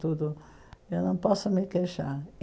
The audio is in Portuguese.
Tudo eu não posso me queixar.